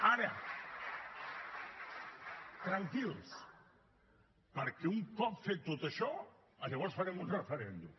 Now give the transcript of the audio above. ara tranquils perquè un cop fet tot això llavors farem un referèndum